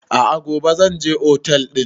A'a gobe zan je otel ɗin